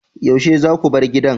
Yaushe zaku bar gidan?